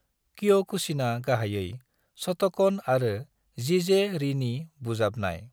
क्योकुशिना गाहायै शोटोकन आरो जीजे-रीनि बुजाबनाय।